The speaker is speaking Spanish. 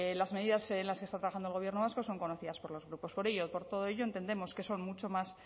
las medidas en las que está trabajando el gobierno vasco son conocidas por los grupos por todo ello entendemos que son mucho más